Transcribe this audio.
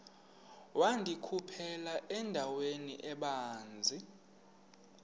wandikhuphela endaweni ebanzi